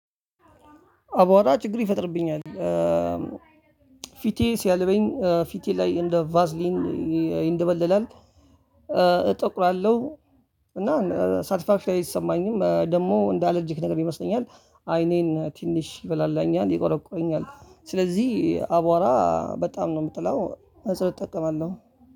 አቧራ ችግር ይፈጥርብኛል። ፊቴ ሲያልበኝ ፊቴ ላይ እንደ ቫዝሊን ይንደበለላል እጠቁራለሁ እና ሰልፋፊ ላይ አይሰማኝም ደግሞ እንደ አላርጅክ ነገር ይመስለኛል አይኔን ትንሽ ይበላኛል ይቆረቁረኛል። ስለዚህ አቧራ በጣም ነው የምጠላው መነፀር እጠቀማለሁ።